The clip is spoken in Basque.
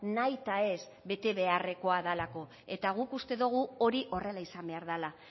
nahitaez bete beharrekoa delako eta guk uste dugu hori horrela izan behar dela